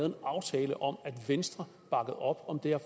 en aftale om at venstre bakkede op om det her